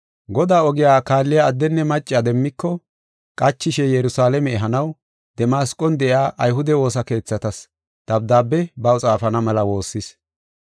Godaa ogiya kaalliya addenne macca demmiko, qachishe Yerusalaame ehanaw, Damasqon de7iya ayhude woosa keethatas dabdaabe baw xaafana mela woossis.